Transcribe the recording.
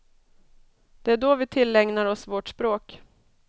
Det är då vi tillägnar oss vårt språk.